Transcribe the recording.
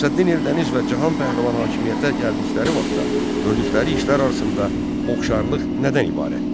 Şəmsəddin Eldəniz və Cahan Pəhləvan hakimiyyətə gəldikləri vaxtda gördükləri işlər arasında oxşarlıq nədən ibarətdir?